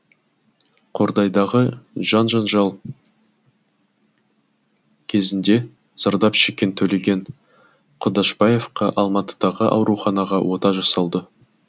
қордайдағы жан жанжал кезінде зардап шеккен төлеген құдашбаевқа алматыдағы ауруханада ота жасалды